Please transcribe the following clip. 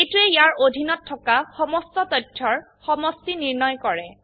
এইটোৱে ইয়াৰ অধীনত থাকা সমস্ত তথ্যৰ সমষ্টি নিৰ্ণয় কৰে